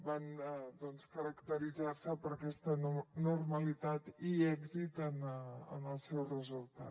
van caracteritzar se per aquesta normalitat i èxit en el seu resultat